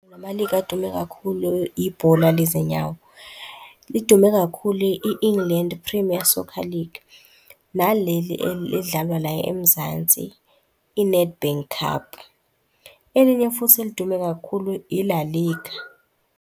Nama-league adume kakhulu, ibhola lezinyawo. Lidume kakhulu i-England Premier Soccer League, naleli elidlalwa la eMzansi, i-Nedbank Cup. Elinye futhi elidume kakhulu i-La Liga.